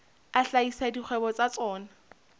a hlahisa dikgwebo tsa tsona